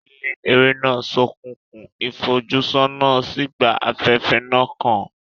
Ilé eré náà ṣókùnkùn, ìfojúsọ́nà sì gba afẹ́fẹ́ náà kan.